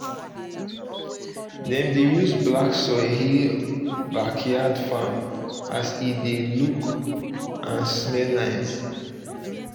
dem dey use black soil heal backyard farm as e dey look um and smell nice